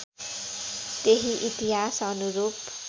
त्यही इतिहास् अनुरूप